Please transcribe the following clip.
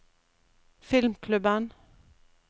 filmklubben